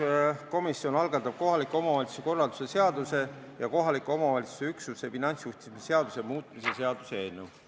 Rahanduskomisjon algatab kohaliku omavalitsuse korralduse seaduse ja kohaliku omavalitsuse üksuse finantsjuhtimise seaduse muutmise seaduse eelnõu.